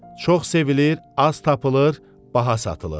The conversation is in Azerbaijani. Çox sevilir, az tapılır, baha satılır.